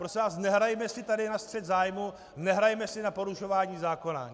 Prosím vás, nehrajme si tady na střet zájmů, nehrajme si na porušování zákona.